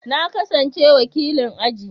Na kasance wakilin aji.